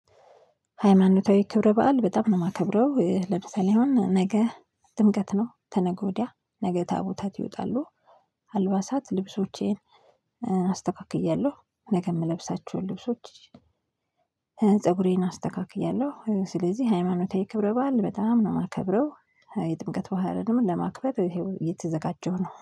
ሃይማኖታዊ ክብረ በዓል በጣም ነው የማከብረው ለምሳሌ ነገ ጥምቀት ነው ከነገ ወዲያ ነገ ታቦታት ይወጣሉ። አልባሳት ልብሶቼን አስተካክያለሁ ነገ የምለብሳቸውን ልብሶች። ፀጉሬን አስተካክያለሁ ስለዚህ ሃይማኖታዊ ክብረ በዓል በጣም ነው የማከብረው። የጥምቀት በአልንም ለማክበር ይሄው እየተዘጋጀው ነው